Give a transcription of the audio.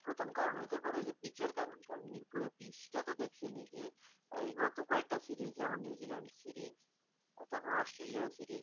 প্রধান কারণ হতে পারে কারণ হচ্ছে পিচের কারণ মার্ করে পিচ সেটা তো দেখিনি যে গত কয়েক টা series যেমন নিউজিল্যান্ড তারপর অস্ট্রেলিয়া series